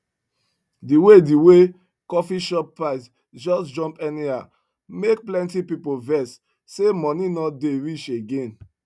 the way the way coffee shop price just jump anyhow make plenty people vex say money no dey reach again